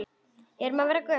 Erum við að verða gömul?